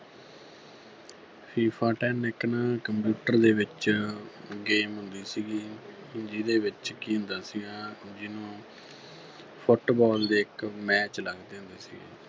FIFA Ten ਇੱਕ ਨਾ computer ਦੇ ਵਿੱਚ game ਹੁੰਦੀ ਸੀਗੀ ਜਿਹਦੇ ਵਿੱਚ ਕੀ ਹੁੰਦਾ ਸੀਗਾ ਜਿਹਨੂੰ Football ਦੇ ਇੱਕ match ਲੱਗਦੇ ਹੁੰਦੇ ਸੀਗੇ।